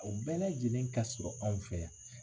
U bɛɛ lajɛlen ka sɔrɔ anw fɛ yan